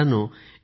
मित्रांनो